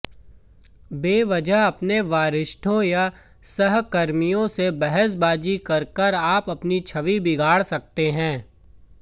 बेवजह अपने वरिष्ठों या सहकर्मियों से बहसबाजी करके आप अपनी छवि बिगाड़ सकते हैं